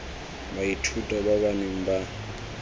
baithuti ba ba neng ba